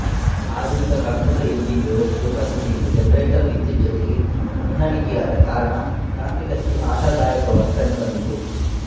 ಆಧುನಿಕ computer engine ವ್ಯವಸ್ಥೆಯ ಪದ್ಧತಿಯಿಂದ ಜನರೇಟರ್ ವಿದ್ಯುತ್ ಜೊತೆಗೆ ಹೊಂದಾಣಿಕೆಯಾದ ಕಾರಣ ತಾಂತ್ರಿಕತೆ ಆಶಾದಾಯಕವಾಗಿ ಕಂಡುಬಂದಿತು